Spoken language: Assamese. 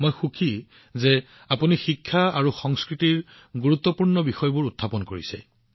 মই সুখী কিয়নো আপুনি শিক্ষা আৰু সংস্কৃতিৰ গুৰুত্বপূৰ্ণ বিষয়বোৰ উত্থাপন কৰিছে